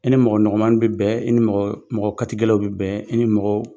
I ni mɔgɔ nɔgɔnmannin bɛ bɛn i ni mɔgɔ katigɛlaw bɛ bɛn i ni mɔgɔ